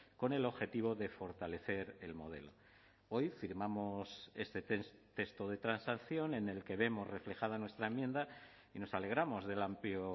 con el objetivo de fortalecer el modelo hoy firmamos este texto de transacción en el que vemos reflejada nuestra enmienda y nos alegramos del amplio